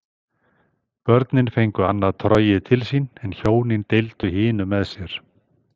Börnin fengu annað trogið til sín en hjónin deildu hinu með sér.